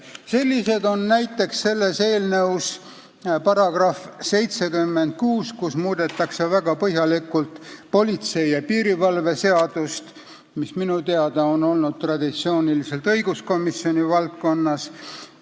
Selline näide on eelnõu § 76, kus muudetakse väga põhjalikult politsei ja piirivalve seadust, mis minu teada on olnud traditsiooniliselt õiguskomisjoni valdkonnas.